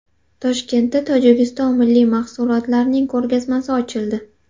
Toshkentda Tojikiston milliy mahsulotlarining ko‘rgazmasi ochildi .